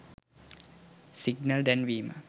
signal දැන්වීම